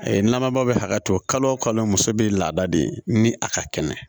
nama bɛ hakɛ to kalo o kalo muso bɛ laada de ni a ka kɛnɛ